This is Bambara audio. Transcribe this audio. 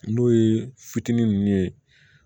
N'o ye fitinin nunnu ye